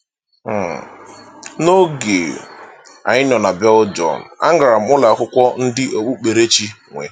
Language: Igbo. um N’oge um anyị nọ na Belgium, agara m ụlọakwụkwọ ndị okpukperechi nwe.